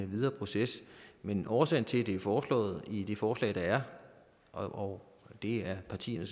videre proces men årsagen til at det er foreslået i det forslag der er og det er partierne